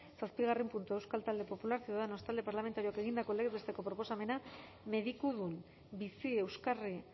zazpigarren puntua euskal talde popularra ciudadanos talde parlamentarioak egindako legez besteko proposamena medikudun bizi euskarri